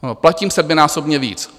Platím sedminásobně víc.